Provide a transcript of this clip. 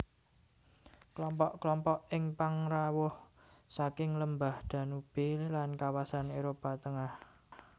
Kelompok kelompok ing pangrawuh saking lembah Danube lan kawasan Éropah Tengah